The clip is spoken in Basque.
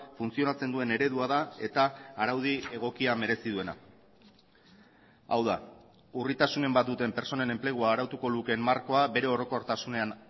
funtzionatzen duen eredua da eta araudi egokia merezi duena hau da urritasunen bat duten pertsonen enplegua arautuko lukeen markoa bere orokortasunean